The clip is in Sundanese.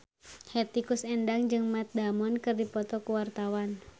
Hetty Koes Endang jeung Matt Damon keur dipoto ku wartawan